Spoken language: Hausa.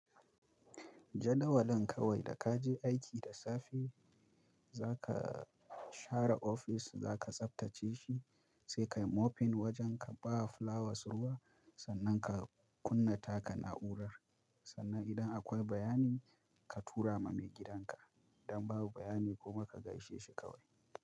Jadawalin kawai da ka je aiki da safe, za ka share ofis za ka tsaftace shi, sai ka yi mopping wajen ka, ba wa flowers ruwa, sannan ka kunna taka na'urar, sannan idan akwai bayani ka tura ma maigidanka. Idan babu bayani kuma ka gaishe shi kawai.